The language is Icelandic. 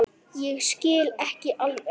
Ég skil ekki alveg